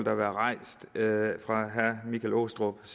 har været rejst fra herre michael aastrup